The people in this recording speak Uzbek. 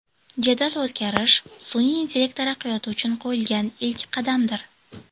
Jadal o‘zgarish sun’iy intellekt taraqqiyoti uchun qo‘yilgan ilk qadamdir.